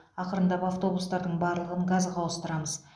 ақырындап автобустардың барлығын газға ауыстырамыз